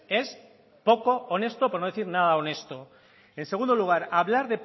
es poco honesto por no decir nada honesto en segundo lugar hablar